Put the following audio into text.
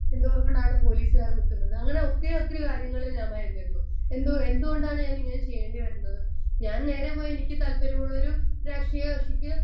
speaker 1 എന്തുകൊണ്ടാണ് പോലീസുകാർ നിക്കുന്നത് അങ്ങനെ ഒത്തിരി ഒത്തിരി കാര്യങ്ങളിൽ ഞാൻ ഭയന്നിരുന്നു എന്തോ എന്തുകൊണ്ടാണ് ഞാനിങ്ങനെ ചെയ്യേണ്ടി വരുന്നത് ഞാൻ നേരെ പോയി എനിക്ക് താല്പര്യമുള്ളൊരു രാഷ്ട്രീയ കക്ഷിക്ക്